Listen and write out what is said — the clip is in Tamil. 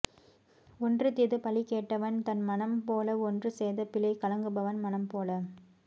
ஒன்று தீது பழி கேட்டவன் தன் மனம் போல ஒன்று செய்த பிழைக் கலங்குபவன் மனம் போல